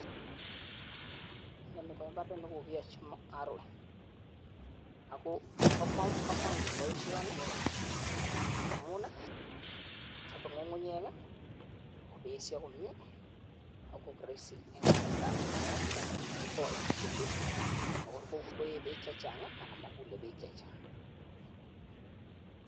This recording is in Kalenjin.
Inoni ko imbaret nekokoyachi narrowing akoba kamanut baishoni amun chabe ngungunyek kobesio komie akoik rahisi en kasarta ab Minet ak kitake kotareti en bek matkeye bek chechang anan makule bek chechang